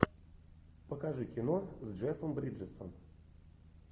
покажи кино с джеффом бриджесом